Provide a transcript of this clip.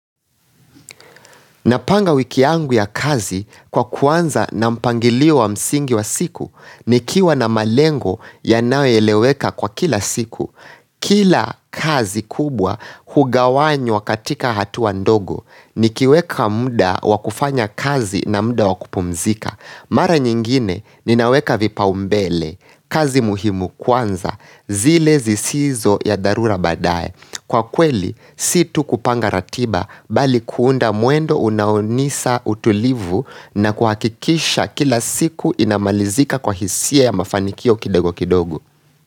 Napanga wiki yangu ya kazi kwa kuanza na mpangilio wa msingi wa siku nikiwa na malengo yanayoeleweka kwa kila siku. Kila kazi kubwa hugawanywa katika hatua ndogo nikiweka muda wakufanya kazi na muda wa kupumzika. Mara nyingine ninaweka vipaumbele. Kazi muhimu kwanza zile zisizo ya dharura baadae. Kwa kweli, si tu kupanga ratiba bali kuunda mwendo unaonisa utulivu na kuhakikisha kila siku inamalizika kwa hisia ya mafanikio kidogo kidogo.